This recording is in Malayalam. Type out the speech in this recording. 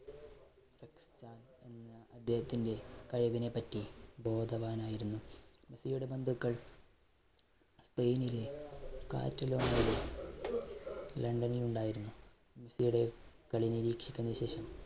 അദ്ദേഹത്തിന്റെ കഴിവിനെപ്പറ്റി ബോധവാനായിരുന്നു. മെസ്സിയുടെ ബന്ധുക്കൾ സ്പെയിനിലെ കാറ്റിലോണയിലെ ലണ്ടനിൽ ഉണ്ടായിരുന്നു, മെസ്സിയുടെ കളി നിരീക്ഷിച്ചതിന് ശേഷം